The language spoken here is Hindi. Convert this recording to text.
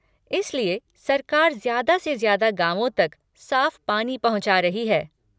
इसलिए सरकार ज्यादा से ज्यादा गाँवों तक साफ़ पानी पहुँचा रही है।